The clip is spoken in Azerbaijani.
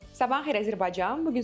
Sabahınız xeyir Azərbaycan.